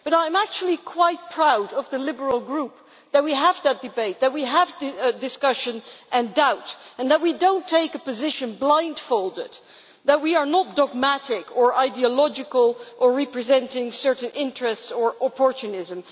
But I am actually quite proud of the Liberal Group that we have that debate, that we have discussion and doubt and that we do not take a position blindfolded, that we are not dogmatic or ideological or represent certain interests or opportunism.